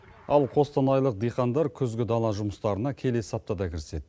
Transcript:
ал қостанайлық диқандар күзгі дала жұмыстарына келесі аптада кіріседі